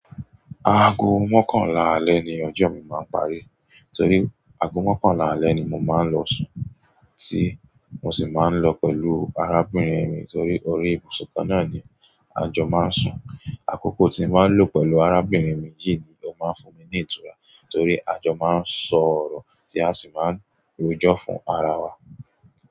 Aago mọ́kànlá alẹ́ ni ọjọ́ mi máa ń parí torí ago mọ́kànlá alẹ́ ni mo máa ń lọ sùn tí mo sì máa ń lọ pẹ̀lú arábìnrin mi torí orí ibùsùn kan náà ni a jọ máa ń sùn. Àkókò tí ń máa ń lọ pẹ̀lú arábìnrin mi yìí ni o máa ń fún mi ni ìtura, torí a jọ máa ń sọ ọ̀rọ̀ tí a sì máa ń rojọ́ fún ara wa.